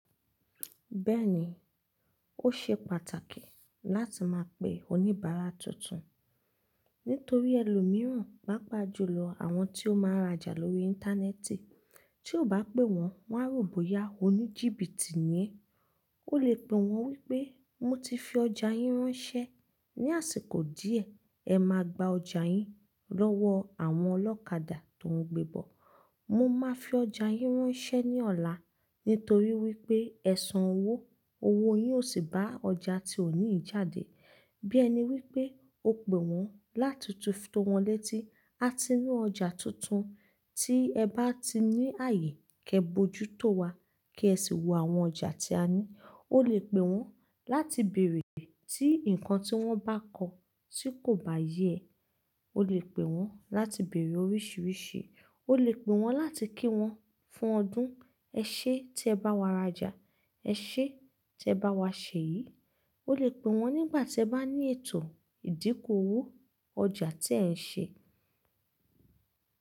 Bẹ́ẹ̀ni, ó ṣe pàtàkì láti máa pe oníbàárà tuntun nítorí ẹlòmíràn, pàápàá jùlọ àwọn tí ó máa ń rajà lórí Íńtánẹ́ẹ̀tì, tí ó bá pé wọ́n, wọ́n á rò bóyá oníjìbìtì ni ẹ. O lè pè wọ́n wípé mo ti fi ọjà yín ránṣẹ́ ní àsìkò díẹ̀, ẹ máa gba ọjà yín lọ́wọ́ àwọn ọlọ́kadà tó ń gbébọ̀. Mo máa fi ọjà yín ránṣẹ́ ní ọ̀la nítorí wípé ẹ san owó, owó yín ò sì bá ọjà tí ò ní jáde. Bí ẹ ní wípé o pè wọ́n láti fi tówon létí, a ti ní ọjà tuntun tí ẹ bá ti ní ààyè, kí ẹ bojútó wa kí ẹ sì wo àwọn ọjà tí a ní. O lè pè wọ́n láti bèrè tí nǹkan tí wọ́n bá kọ tí kò bá yé ẹ. O lè pè wọ́n láti bèrè oríṣiríṣi. O lè pè wọ́n láti kí wọn fún ọdún, "ẹ ṣé tí ẹ bá wa rajà? Ẹ ṣé tí ẹ bá wa sèyì?" O lè pè wọ́n nígbà tí ẹ bá ní ètò ìdínkù owó ọjà tí ẹ ń ṣe.